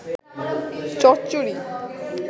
চচ্চড়ি